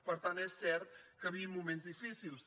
per tant és cert que vivim moments difícils